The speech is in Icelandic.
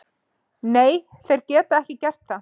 Nei, þeir geta ekki gert það.